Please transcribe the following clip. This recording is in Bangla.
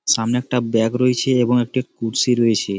সামনে একটা ব্যাগ রয়েছে এবং একটি কুর্শি রয়েছে।